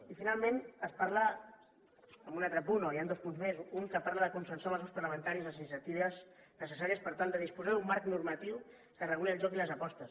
i finalment es parla en un altre punt o hi ha dos punts més un que parla de consensuar amb els grups parlamentaris les iniciatives necessàries per tal de disposar d’un marc normatiu que reguli el joc i les apostes